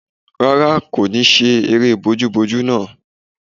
Rárá, kò ní ṣe eré bojúbojú náà